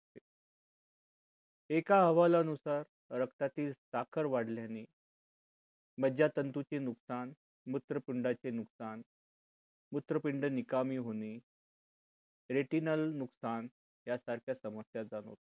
एका हवाला नुसार रक्तातील साखर वाढल्याने मज्जातंतू चे नुकसान मूत्रपिंडा चे नुकसान. मूत्रपिंड निकामी होणे retinal नुकसान यासारख्या समस्या जाणवतात